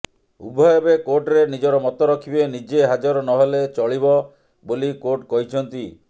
ଉଭୟ ଏବେ କୋର୍ଟରେ ନିଜର ମତ ରଖିବେ ନିଜେ ହାଜର ନହେଲେ ଚଳିବ ବୋଲି କୋର୍ଟ କହିଛନ୍ତି